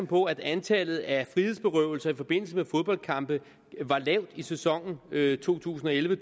på at antallet af frihedsberøvelser i forbindelse med fodboldkampe var lavt i sæsonen to tusind og elleve